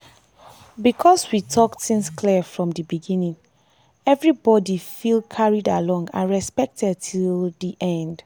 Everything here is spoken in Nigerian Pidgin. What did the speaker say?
because we talk things clear from dey beginning everybody fell carried along and respected till dey end.